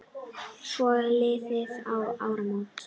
Svo liðu áramót.